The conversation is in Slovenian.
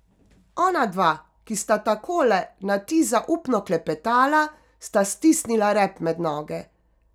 Onadva, ki sta takole na ti zaupno klepetala, sta stisnila rep med noge.